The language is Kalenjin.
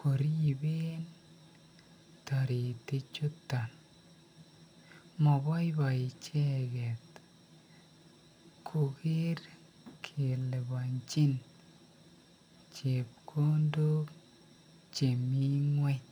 koriben toritichuton, moboiboi icheket koker kelibonchin chepkondok chemii ngweny.